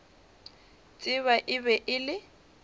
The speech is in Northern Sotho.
tseba e be e le